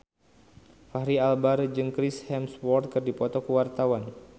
Fachri Albar jeung Chris Hemsworth keur dipoto ku wartawan